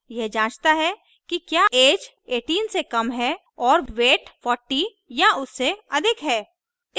यह जाँचता है कि क्या ऐज 18 से कम है और weight 40 या उससे अधिक है